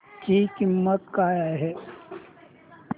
ची किंमत काय आहे